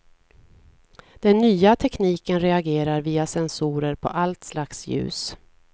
Den nya tekniken reagerar via sensorer på allt slags ljus.